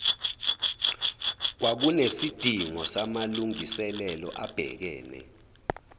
kwakunesidingo samalungiselelo abhekene